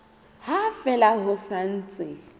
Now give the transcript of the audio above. ha fela ho sa ntse